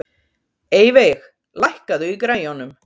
Eyveig, lækkaðu í græjunum.